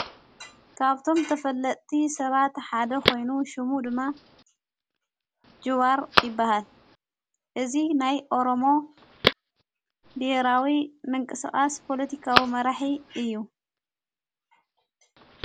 ካብቶም ተፈለጥቲ ሰባ ትሓደ ኾይኑ ሹሙ ድማ ጅዋር ይበሃል እዚ ናይ ኦሮሞ ቢሄራዊ ምንቀስቓስ ፖሎቲካዊ መራሒ እዩ።